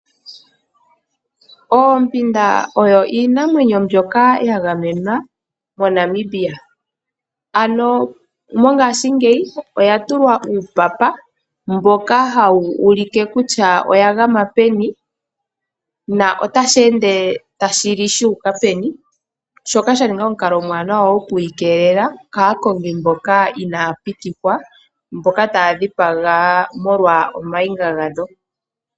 Oompinda oyo iinamwenyo mbyoka ya gamenwa moNamibia, ano mongashingeyi oya tulwa uupapa mboka hawu ulike kutya oya gama peni, na otashi ende tashi li shu uka peni, shoka sha ninga omukalo omuwanawa okuyi keelela kaakongi mboka inaa pitikwa, mboka taya dhipaga molwa omayinga gadho.